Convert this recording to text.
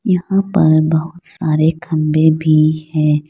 यहां पर बहुत सारे खंभे भी हैं।